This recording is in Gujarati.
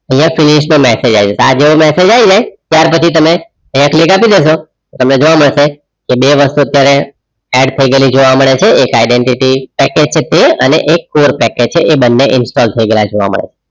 આઇયાહ finish the message આય જસે આ જેવો message આય ને ત્રયાર પછી તમે આઇયાહ click આપી દેસો તમને જોવા મદસે જે બે વસ્તુ અત્યરેહ add થઈ ગયેલી જોવા મેડ છે આરકે identity પેકેજ અને એક કોરે પેકેજ એ બંને ઇન્સ્ટોલ થઈ ગયેલા જોવા મેડ છે